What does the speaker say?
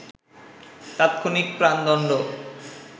তাৎক্ষণিক প্রাণদণ্ড